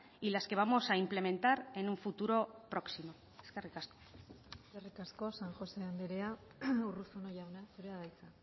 y las que vamos a implementar en un futuro próximo eskerrik asko eskerrik asko san josé andrea urruzuno jauna zurea da hitza